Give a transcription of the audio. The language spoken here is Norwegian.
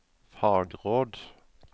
fagråd